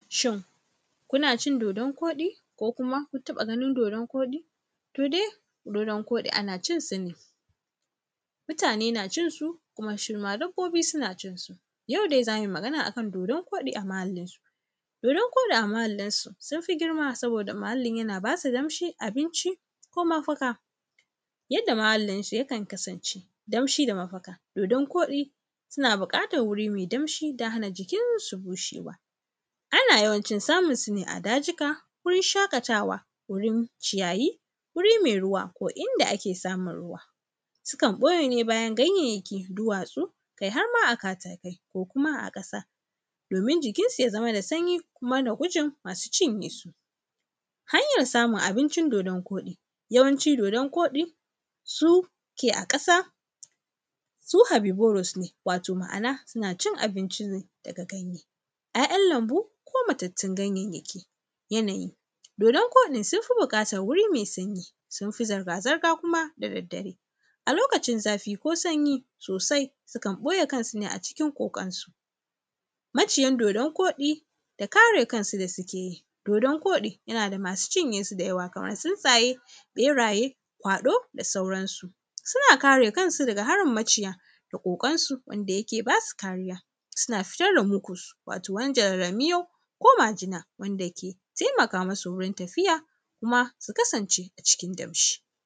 Shin kuna cin dodon kuɗi ko kuma kun taɓa ganin dodon kuɗi? To, dai dodon kuɗi ana cin sa ne, mutane na cinsu kuma dabbobi na cinsu yaudai zamuyi magana kan dodon koɗi a mahallinsu dodon kuɗi a mahllinsu sunfi girma sabuda ,muhallinsu yana basu damshi ko mafaka yanda muhallinsu yakan kasance damshi da mafaka dodon kuɗi suna buƙatan waje me damshi inda jikinsu bazai busheba ana yawancin samunsune a dajika wurin shaƙatawa wajen ciyayi wuri me ruwa ko inda ake samun ruwa sukan ɓuyene bayan ganyayyaki duwatsu kai harma a bayan katakai arma a ƙasa domin jikinsu ya zamu me sanyi kuma da gujin masu cinyesu hanyan samun abincin dodon kuɗi yawanci dodon koɗi suke a ƙasa su habiburus ma’ana sunacin ganaye ‘ya’yan lanbu ko mutattun ganyan yaki yanayi dodon kuɗi sunfi buƙatan wuri me sanyi sunfi zirga zirga kuma da daddare a lokacin zafi ko sanyi sosai sukan ɓuye kansune a cikin ƙoƙansu maciyan dodon kuɗi da kare kansu sukeyi dodon kuɗi yanada masu cinyeshi da yawa kaman tsintsaye ɓeraye kwaɗo da sauransu suna kare kansu daga harin maciya ƙoƙansu wanda yake basu kariya suan fito fa mjuƙus wani darara miyau ko majina wanda ke taimaka musu wajen tafiya kuma sukasance a cikin damshi